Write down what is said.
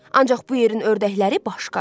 Ancaq bu yerin ördəkləri başqadır.